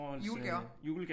Julegaver